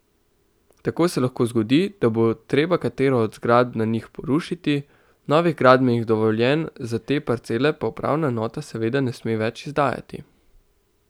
Tako se lahko zgodi, da bo treba katero od zgradb na njih porušiti, novih gradbenih dovoljenj za te parcele pa upravna enota seveda ne sme več izdajati.